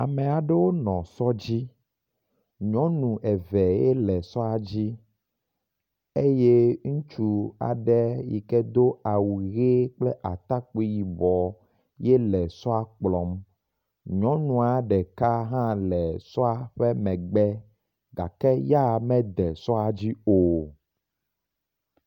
Amea ɖewo nɔ sɔ dzi, nyɔnu eve ye le sɔa dzi eye ŋutsu aɖe yike do awu ʋe kple atakpui yibɔ ye le sɔa kplɔm. Nyɔnua ɖeka hã le sɔa ƒe megbe gake ya mede sɔa dzi o.